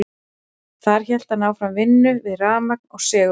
þar hélt hann áfram vinnu við rafmagn og segulmagn